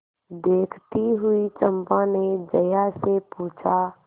देखती हुई चंपा ने जया से पूछा